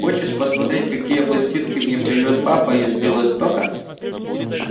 хочешь посмотреть какие пластинки мне привёз папа из белостока